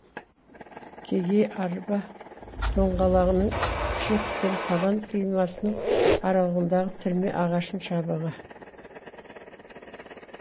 кегей арба доңғалағының күпшек пен табан қимасының аралығындағы тірме ағашының шабығы